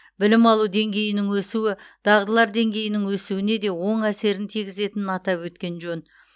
білім алу деңгейінің өсуі дағдылар деңгейінің өсуіне де оң әсерін тигізетінін атап өткен жөн